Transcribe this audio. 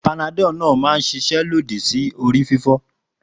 Panadol náà máa ń ṣiṣẹ́ lòdì sí orí fífọ́.